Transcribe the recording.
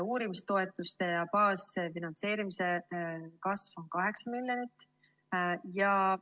Uurimistoetuste ja baasfinantseerimise kasv on 8 miljonit.